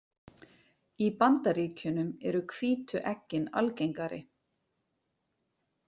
Í Bandaríkjunum eru hvítu eggin algengari.